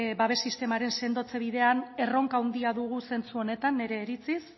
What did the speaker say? babes sistemaren sendotze bidean erronka handia dugu zentzu honetan nire iritziz